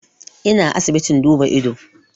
Ina asibitin duba ido